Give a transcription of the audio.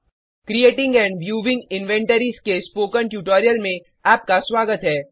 creating and viewing inventories के spoken tutorial में आपका स्वागत है